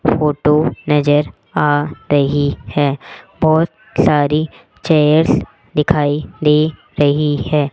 Photo नजर आ रही है बहोत सारी चेयर्स दिखाई दे रही है।